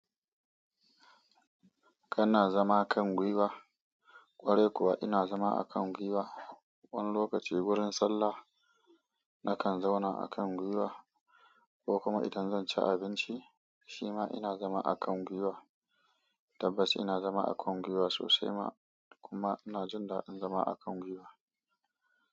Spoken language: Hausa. Kana zama kan gwiwa? Kwarai kuwa ina zama a kan gwiwa. Wani lokaci wurin sallah nakan zauna a kan gwiwa ko kuma idan zan ci abinci shima ina zama a kan gwiwa. Tabbas ina zama a kan gwiwa sosai ma kuma ina jin daɗin zama a kan gwiwa.